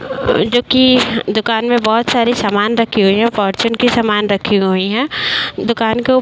अ जोकि दुकान में बहोत सारे सामान रखे हुए हैं और फॉर्चून के सामान रखे हुए हैं। दुकान के ऊ --